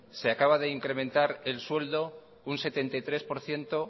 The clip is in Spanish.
se ha acaba de incrementar el sueldo un setenta y tres por ciento